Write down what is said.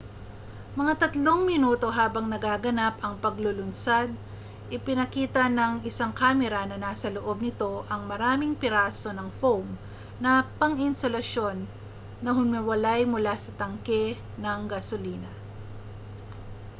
mga 3 minuto habang nagaganap ang paglulunsad ipinakita ng isang kamera na nasa loob nito ang maraming piraso ng foam na pang-insulasyon na humiwalay mula sa tangke ng gasolina